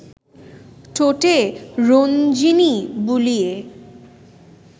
ঠোঁটে রঞ্জিনী বুলিয়ে